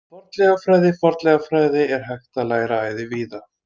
Fornleifafræði Fornleifafræði er hægt að læra æði víða.